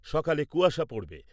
সকালে কুয়াশা পড়বে।